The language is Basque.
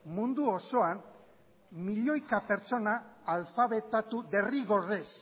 mundu osoan milioika pertsona alfabetatu derrigorrez